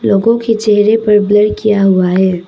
लोगों के चेहरे पर ब्लर किया हुआ है।